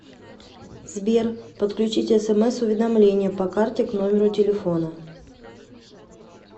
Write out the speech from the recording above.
сбер подключить смс уведомления по карте к номеру телефона